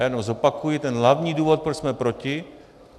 Já jenom zopakuji ten hlavní důvod, proč jsme proti.